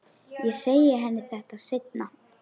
Ég segi henni þetta seinna.